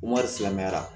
Wari silamɛyara